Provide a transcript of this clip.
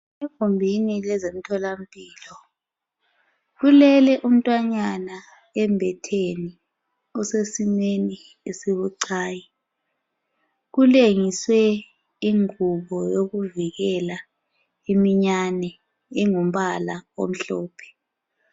Egumbini leze mthola mpilo, kulele umntwanyana embetheni. Osesimweni esibucayi. Kulengiswe ingubo yokuvikela iminyane. Ingumbala omhlophe.